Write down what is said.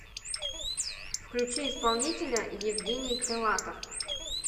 включи исполнителя евгений крылатов